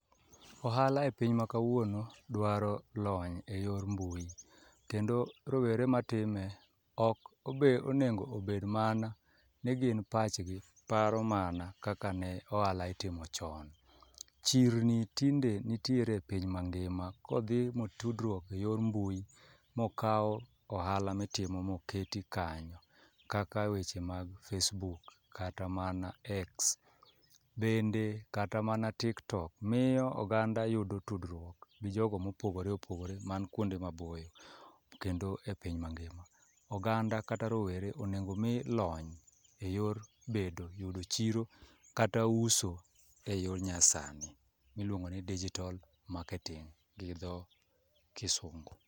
Ohala e piny ma kawuono dwaro lony e yor mbui, kendo rowere ma time ok obe onego obed mana ni gin pachgi paro mana kaka ne oala itimo chon. Chirni tinde nitiere e piny ma ngima, kodhi motudruok e yor mbui mokaw ohala mitimo moket kanyo. Kaka weche mag Facebook kata mana X, bende kata mana TikTok miyo ogada yudo tudruok gi jogo mopogore opogore man kuonde ma boyo kendo e piny mangima. Oganda kata rowere onego mi lony e yor bedo yudo chiro kata uso e yor nyasani miluongo ni digital marketing gi dho Kisungu.